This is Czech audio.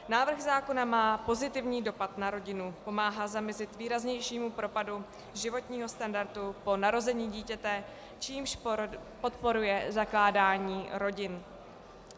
Návrh zákona má pozitivní dopad na rodinu, pomáhá zamezit výraznějšímu propadu životního standardu po narození dítěte, čímž podporuje zakládání rodin.